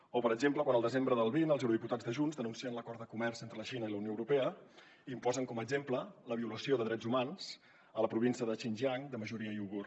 o per exemple quan al desembre del vint els eurodiputats de junts denuncien l’acord de comerç entre la xina i la unió europea i en posen com a exemple la violació de drets humans a la província de xingiang de majoria uigur